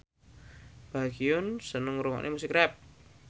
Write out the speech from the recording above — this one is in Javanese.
Baekhyun seneng ngrungokne musik rap